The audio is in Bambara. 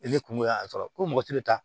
E kungo y'a sɔrɔ ko mɔgɔ tɛ taa